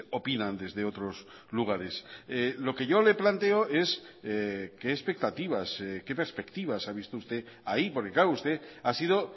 opinan desde otros lugares lo que yo le planteo es qué expectativas qué perspectivas ha visto usted ahí porque claro usted ha sido